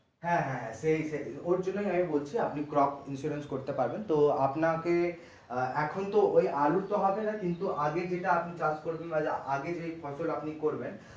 হ্যাঁ হ্যাঁ হ্যাঁ সেই সেই ওর জন্য আমি বলছি আপনি crop insurance করতে পারেন তো আপনাকে আহ এখন তো ওই আলুর তো হবেনা কিন্তু আগের যেটা আপনি কাজ করবেন মানে আগে যেই ফসল আপনি করবেন